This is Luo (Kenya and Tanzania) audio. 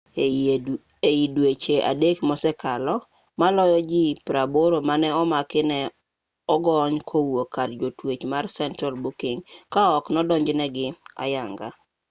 ei dweche 3 mosekalo maloyo ji 80 mane omaki ne ogony kowuok kar jotwech mar central booking ka ok odonjnegi ayanga